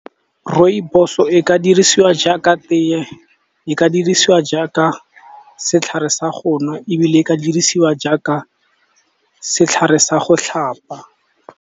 Rooibos-o e ka dirisiwa jaaka tee, e ka dirisiwa jaaka setlhare sa go nwa, ebile e ka dirisiwa jaaka setlhare sa go tlhapa.